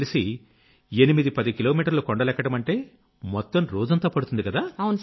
నాకు తెలిసి 810 కిలోమీటర్లు కొండలెక్కడమంటే మొత్తం రోజంతా పడుతుంది